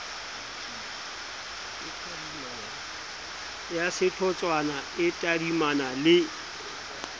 ya sehlotshwana e tadimana le